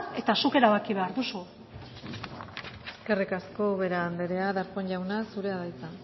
eta zuk erabaki behar duzu eskerrik asko ubera anderea darpón jauna zurea da hitza